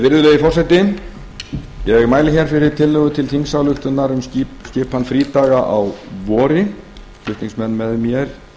virðulegi forseti ég mæli hér fyrir tillögu til þingsályktunar um skipan frídaga á vori flutningsmenn með mér